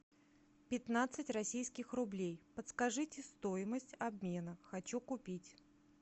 пятнадцать российских рублей подскажите стоимость обмена хочу купить